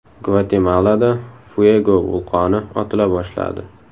Gvatemalada Fuego vulqoni otila boshladi.